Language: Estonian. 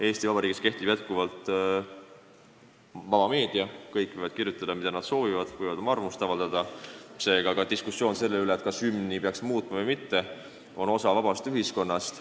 Eesti Vabariigis on jätkuvalt vaba meedia, kõik võivad kirjutada, mida nad soovivad, võivad oma arvamust avaldada, seega ka diskussioon selle üle, kas hümni peaks muutma või mitte, on osa vabast ühiskonnast.